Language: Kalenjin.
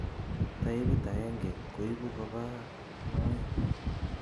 Taipit aenge koibu kobaa moet